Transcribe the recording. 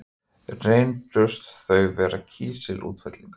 Reyndust þau vera kísilútfellingar.